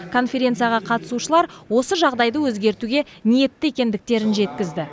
конференцияға қатысушылар осы жағдайды өзгертуге ниетті екендіктерін жеткізді